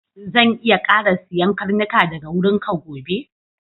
Zan iya ƙara siyan karnuka daga wurinka gobe?